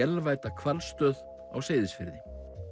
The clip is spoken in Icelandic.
vélvædda hvalstöð á Seyðisfirði